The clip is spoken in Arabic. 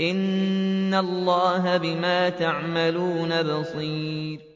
إِنَّ اللَّهَ بِمَا تَعْمَلُونَ بَصِيرٌ